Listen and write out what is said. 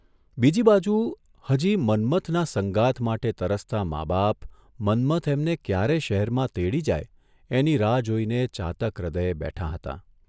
બીજીબાજુ હજી મન્મથના સંગાથ માટે તરસતાં મા બાપ મન્મથ એમને ક્યારે શહેરમાં તેડી જાય એની રાહ જોઇને ચાતક હૃદયે બેઠાં હતાં.